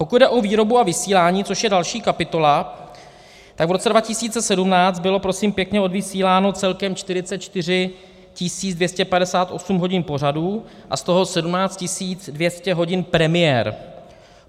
Pokud jde o výrobu a vysílání, což je další kapitola, tak v roce 2017 bylo, prosím pěkně, odvysíláno celkem 44 258 hodin pořadů a z toho 17 200 hodin premiér.